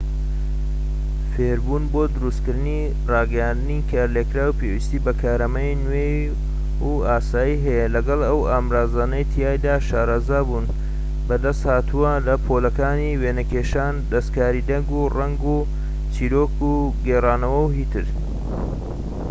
فێربوون بۆ دروستکردنی ڕاگەیاندنی کارلێكکراو پێویستی بە کارامەیی نوێ و ئاسایی هەیە لەگەڵ ئەو ئامرازانەی تیایدا شارەزابوون بەدەستهاتووە لە پۆلەکانی وێنەکێشان و دەستکاری دەنگ و ڕەنگ و چیرۆک گێڕانەوە و هتد.